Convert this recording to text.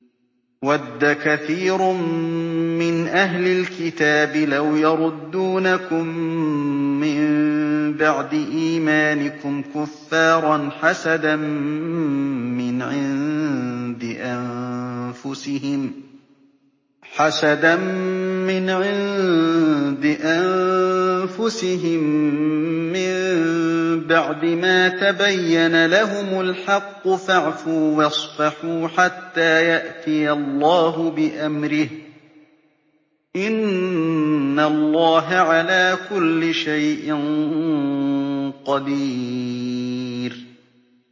وَدَّ كَثِيرٌ مِّنْ أَهْلِ الْكِتَابِ لَوْ يَرُدُّونَكُم مِّن بَعْدِ إِيمَانِكُمْ كُفَّارًا حَسَدًا مِّنْ عِندِ أَنفُسِهِم مِّن بَعْدِ مَا تَبَيَّنَ لَهُمُ الْحَقُّ ۖ فَاعْفُوا وَاصْفَحُوا حَتَّىٰ يَأْتِيَ اللَّهُ بِأَمْرِهِ ۗ إِنَّ اللَّهَ عَلَىٰ كُلِّ شَيْءٍ قَدِيرٌ